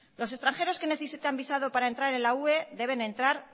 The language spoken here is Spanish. los extranjeros que necesitan visado para entrar en la ue deben entrar